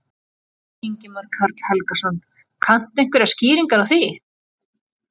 Ingimar Karl Helgason: Kanntu einhverjar skýringar á því?